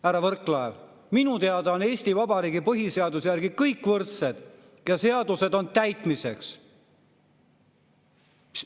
Härra Võrklaev, minu teada on Eesti Vabariigi põhiseaduse järgi kõik võrdsed ja seadused on täitmiseks.